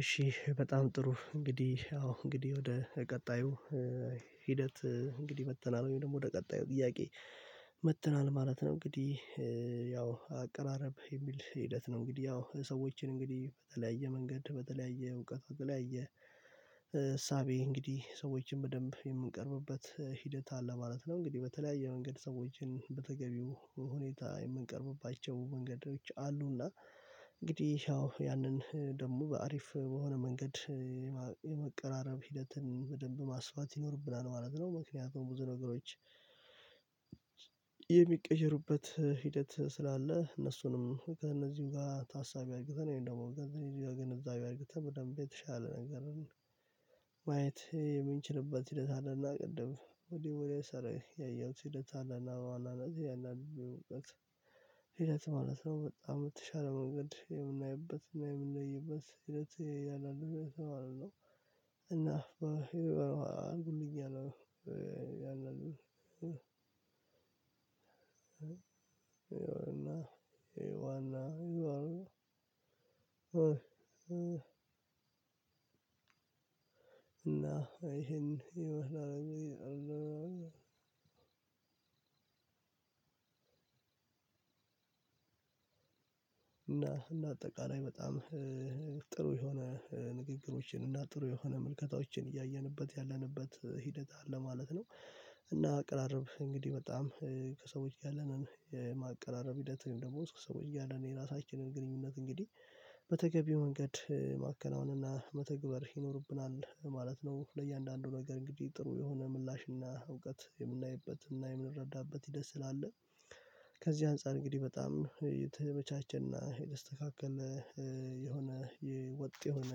እሺ በጣም ጥሩ እንግዲህ አዎ እንግዲህ ወደ ቀጣዩ ሂደት እንግዲህ መጥተናል ወይም ደግሞ ወደ ቀጣዩ ጥያቄ መጥተናል ማለት ነው። እንግዲህ ያው አቀራረብ የሚል ሂደት ነው እንግዲህ ያው ሰዎችን እንግዲህ በተለያየ መንገድ በተለያየ እውቀት በተለያየ እሳቤ እንግዲህ ሰዎችን በደንብ የምንቀርብበት ሂደት አለ ማለት ነው። እንግዲህ በተለያየ መንገድ ሰዎችን በተገቢው ሁኔታ የምንቀርብባቸው መንገዶች አሉና እንግዲህ ያው ያንን ደግሞ በአሪፍ በሆነ መንገድ የመቀራረብ ሂደትን በደንብ ማስፋት ይኖርብናል ማለት ነው። ምክንያቱም ብዙ ነገሮች የሚቀየሩበት ሂደት ስላለ እነሱንም ከእነዚህም ጋር ታሳቢ አድርገን ወይም ደግሞ ከእነዚህ ጋር ግንዛቤ አድርገን በደንብ የተሻለ ነገር ነው ማየት የምንችልበት ሂደት አለና ቅድም ወዲያው ወዲያው ሰረ ያየሁት ሂደት አለና በኋላ ናት ያንን እውቀት ሂደት ማለት ነው በጣም የ በተሻለው መንገድ የምናይበት እና የምንለይበት ሂደት ያላልኩኝ ነው የተባለው። እና አንብተኛለሁ ያላልኩኝ ይሄ ዋና ይሄ ዋና ይላሉ እና ይሄን ይመስላል እና እና አጠቃላይ በጣም ጥሩ የሆነ ንግግሮችን እና ጥሩ የሆነ ምልከታዎችን እያየንበት ያለንበት ሂደት አለ ማለት ነው። እና አቀራረብ እንግዲህ በጣም ከሰዎች ያለንን የማቀራረብ ሂደት ወይም ደግሞ ሰዎች ያለንን የራሳችንን ግንኙነት እንግዲህ በተገቢው መንገድ ማከናወን እና መተግበር ይኖርብናል ማለት ነው። ለእያንዳንዱ ነገር እንግዲህ ጥሩ የሆነ ምላሽና እውቀት የምናይበትና የምንረዳበት ሂደት ስላለ ከዚህ አንፃር እንግዲህ በጣም የተመቻቸና የተስተካከለ የሆነ የወጥ የሆነ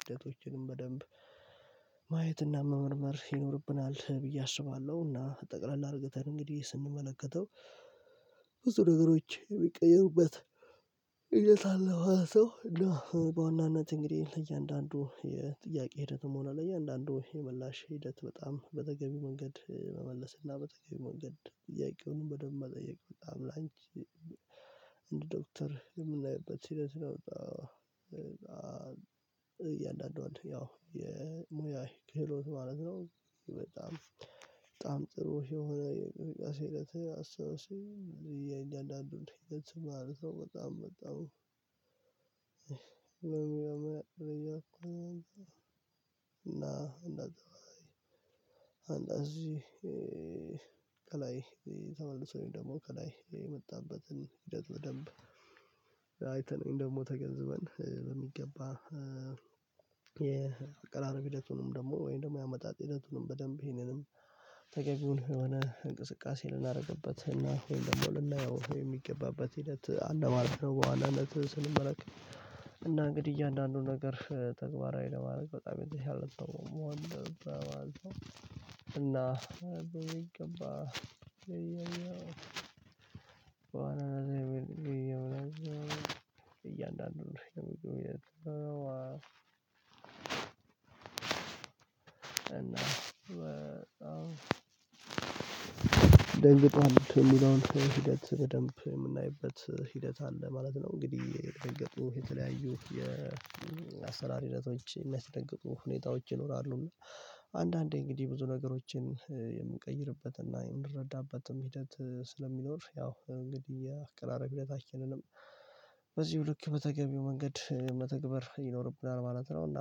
ሂደቶችንም በደንብ ማየትና መመርመር ይኖርብናል ብዬ አስባለሁና እና ጠቅላላ አድርገን እንግዲህ ስንመለከተው ብዙ ነገሮች ቢቀየሩበት ሂደት አለ ማለት ነው። በዋናነት እንግዲህ ለእያንዳንዱ የጥያቄ ሂደትም ሆነ ለእያንዳንዱ የምላሽ ሂደት በጣም በተገቢ መንገድ መመለስ እና በተገቢ መንገድ ጥያቄውን በደንብ መጠየቅ በጣም ላንቺ እንደ ዶክተር የምናይበት ሂደት ነውና እያንዳንዱ ያው የሙያ ክህሎት ማለት ነው። በጣም በጣም ጥሩ የሆነ የእንቅስቃሴ ሂደት አስታውሰው የእየ አንዳንዱን ሂደት ማለት ነው። በጣም በጣም እና እና እንደዚህ ከላይ ተመልሶ ወይም ደግሞ ከላይ የመጣበትን ሂደት በደንብ አይተን ደግሞ ተገንዝበን በሚገባ የቀራረብ ሂደቱንም ደግሞ ወይም ደግሞ የአመጣጥ ሂደቱንም በደንብ ይሄንንም ተገቢውን የሆነ እንቅስቃሴ ልናደርግበት እና ወይም ደግሞ ልናየው ወይም የሚገባበት ሂደት አለማለት ነው። በዋናነት ስንመለከት እና እንግዲህ እያንዳንዱን ነገር ተግባራዊ ለማድረግ በጣም የተሻለ ነው መሆን እና በሚገባ ገባህ እያንዳንዱን ነው እና ደንገጧል የሚለውን ሂደት በደንብ የምናይበት ሂደት አለ ማለት ነው። እንግዲህ የተደገጡ የተለያዩ የአሰራር ሂደቶች የሚያስደግፉ ሁኔታዎች ይኖራሉ አንዳንዴ እንግዲህ ብዙ ነገሮችን የምንቀይርበትና የምንረዳበትም ሂደት ስለሚኖር ያው እንግዲህ አቅራረብ ሂደታችንንም በዚሁ ልክ በተገቢው መንገድ መተግበር ይኖርብናል ማለት ነው። እና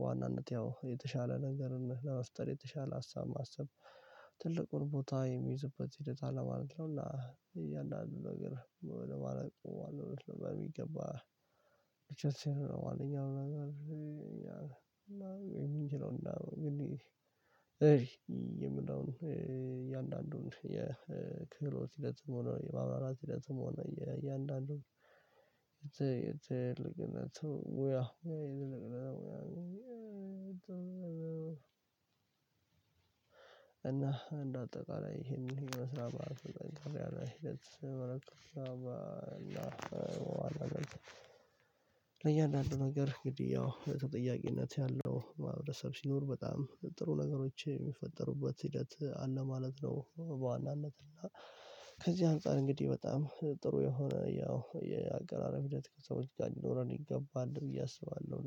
በዋናነት ያው የተሻለ ነገርን ለመፍጠር የተሻለ ሀሳብ ማሰብ ትልቁን ቦታ የሚይዝበት ሂደት አለ ማለት ነው። እና እያንዳንዱ ነገር ወደ ማለቁ በሚገባ ብቻ ማንኛውም ነገር ወይ የምንችለው እንደው እንግዲህ የምለውን እያንዳንዱን የክህሎት ሂደትም ሆኖ የማመራራት ሂደትም ሆነ እያንዳንዱ የትልቅነቱ ያ እና እንደ አጠቃላይ ይሄንን መስራት አለብን ቀርተን መረከብ አለብን ለእያንዳንዱ ነገር እንግዲህ ያው በተጠያቂነት ያለው ማህበረሰብ ሲኖር በጣም ጥሩ ነገሮች የሚፈጠሩበት ሂደት አለ ማለት ነው። በዋናነት እና ከዚህ አንፃር እንግዲህ በጣም ጥሩ የሆነ ያው የአቀራረብ ሂደት ከሰዎች ጋር ይኖረን ይገባል ብዬ አስባለሁ